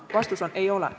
Vastus on: ei ole.